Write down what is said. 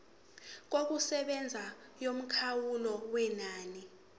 yokusebenza yomkhawulo wenani